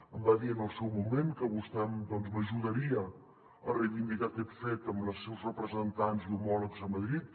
em va dir en el seu moment que vostè doncs m’ajudaria a reivindicar aquest fet amb els seus representants i homòlegs a madrid